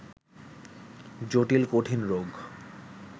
জটিল-কঠিন রোগ